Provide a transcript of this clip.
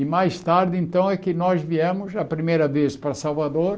E mais tarde então é que nós viemos a primeira vez para Salvador.